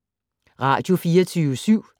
Radio24syv